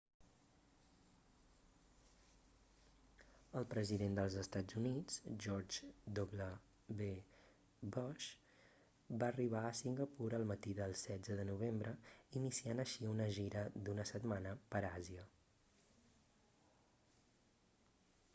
el president dels estats units george w bush va arribar a singapur el matí del 16 de novembre iniciant així una gira d'una setmana per àsia